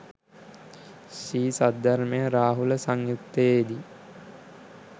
ශ්‍රී සද්ධර්මය රාහුල සංයුත්තයේදී